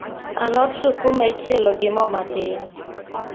Alot sukuma ichielo gi moo matin